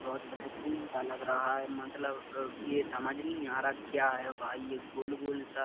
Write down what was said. बहोत बेहतरीन सा लग रहा है अ मतलब ये समझ नहीं आ रहा क्या है भाई ये गोल गोल सा--